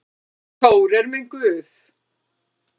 Þór er minn guð.